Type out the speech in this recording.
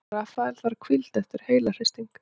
Rafael þarf hvíld eftir heilahristing